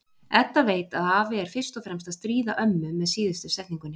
Edda veit að afi er fyrst og fremst að stríða ömmu með síðustu setningunni.